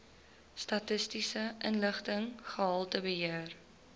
statistiese inligting gehaltebeheer